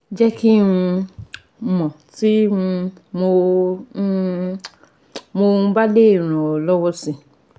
Jẹ́ kí um n mọ̀ tí um mo um mo um bá lè ràn ọ́ lọ́wọ́ si